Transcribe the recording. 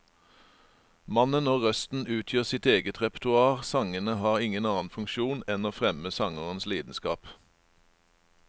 Mannen og røsten utgjør sitt eget repertoar, sangene har ingen annen funksjon enn å fremme sangerens lidenskap.